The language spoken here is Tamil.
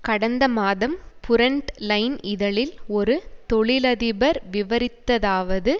கடந்த மாதம் புரண்ட் லைன் இதழில் ஒரு தொழிலதிபர் விவரித்ததாவது